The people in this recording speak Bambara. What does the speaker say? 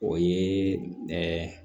O ye